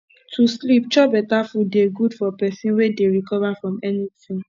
to sleep chop beta food dey good for pesin wey dey recover from anything